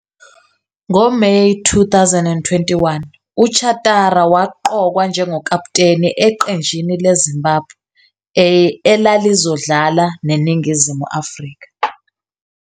NgoMeyi 2021,uChatara waqokwa njengokaputeni eqenjini leZimbabwe A elalizodlala neNingizimu Afrika.